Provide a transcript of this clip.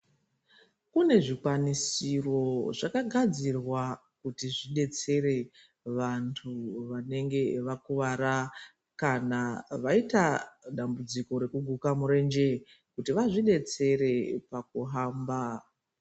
Kune zvikwanisiro zvakagadzirwa kuti zvidetsere vantu vanenge vakuvara kana vaita dambudziko rekuguka murenje kuti vazvudetsere pakuhamba.